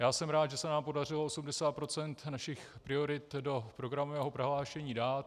Já jsem rád, že se nám podařilo 80 % našich priorit do programového prohlášení dát.